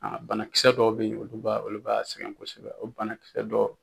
banakisɛ dɔw bɛ ye olu b'a olu b'a sɛgɛn kosɛbɛ o banakisɛ dɔ